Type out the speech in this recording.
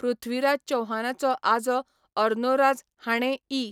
पृथ्वीराज चौहानाचो आजो अर्नोराज हाणें इ.